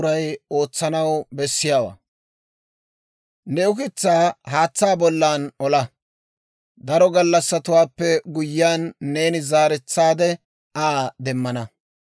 Ne ukitsaa haatsaa bollan olaa; daro gallassatuwaappe guyyiyaan, neeni zaaretsaade Aa demmana.